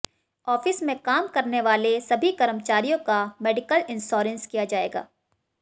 office में काम करने वाले सभी कर्मचारियों का मेडिकल इंश्योरेंस किया जाएगा